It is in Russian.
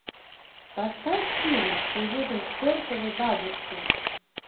поставь фильм уедем к чертовой бабушке